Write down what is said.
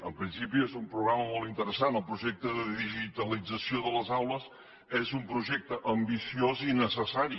en principi és un programa molt interessant el projecte de digitalització de les aules és un projecte ambiciós i necessari